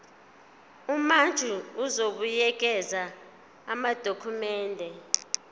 umantshi uzobuyekeza amadokhumende